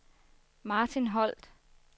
Martin Holt